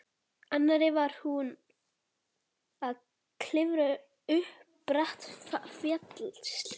annarri var hún að klifra upp bratta fjallshlíð.